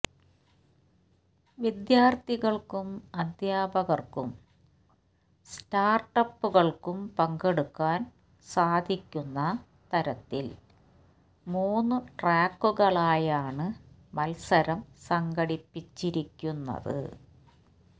വിദ്യാർത്ഥികൾക്കും അദ്ധ്യാപകർക്കും സ്റ്റാർട്ടപ്പുകൾക്കും പങ്കെടുക്കാൻ സാധിക്കുന്ന തരത്തിൽ മൂന്ന് ട്രാക്കുകളായാണ് മത്സരം സംഘടിപ്പിച്ചിരിക്കുന്നത്